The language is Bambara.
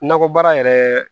Nakɔ baara yɛrɛ